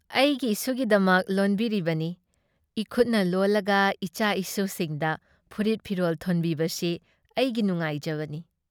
ꯑꯩꯒꯤ ꯏꯁꯨꯒꯤꯗꯃꯛ ꯂꯣꯟꯕꯤꯔꯤꯕꯅꯤ ꯫ ꯏꯈꯨꯠꯅ ꯂꯣꯜꯂꯒ ꯏꯆꯥ ꯏꯁꯨꯁꯤꯡꯗ ꯐꯨꯔꯤꯠ ꯐꯤꯔꯣꯜ ꯊꯣꯟꯕꯤꯕꯁꯤ ꯑꯩꯒꯤ ꯅꯨꯡꯉꯥꯏꯖꯕꯅꯤ ꯫